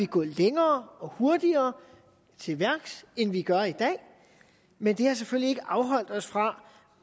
gå længere og hurtigere til værks end vi gør i dag men det har selvfølgelig afholdt os fra